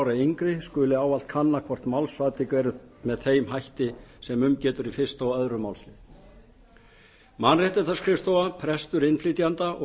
ára eða yngri skuli ávallt kanna hvort málsatvik eru með þeim hætti sem um getur í fyrsta og önnur málsl mannréttindaskrifstofa prestur innflytjenda og